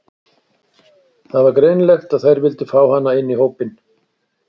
Það var greinilegt að þær vildu fá hana inn í hópinn.